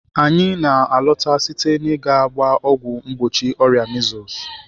Anyị na-alọta site n'ịga gbaa ọgwụ mgbochi ọrịa measles.